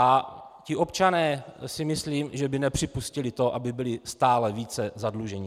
A ti občané si myslím, že by nepřipustili to, aby byli stále více zadluženi.